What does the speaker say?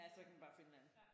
Ja så kan man bare finde en anden